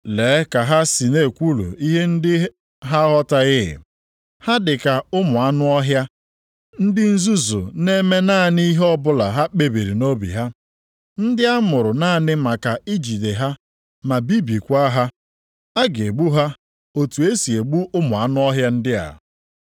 Lee ka ha si na-ekwulu ihe ndị ha aghọtaghị. Ha dị ka ụmụ anụ ọhịa, ndị nzuzu na-eme naanị ihe ọbụla ha kpebiri nʼobi ha. Ndị a mụrụ naanị maka ijide ha ma bibiekwa ha. A ga-egbu ha otu e si egbu ụmụ anụ ọhịa ndị a.